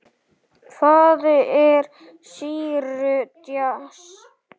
Hvað er sýru djass?